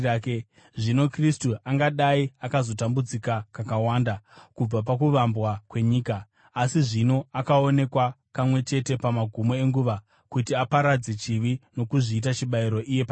Zvino Kristu angadai akazotambudzika kakawanda kubva pakuvambwa kwenyika. Asi zvino akaonekwa kamwe chete pamagumo enguva kuti aparadze chivi nokuzviita chibayiro iye pachake.